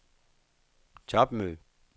topmøde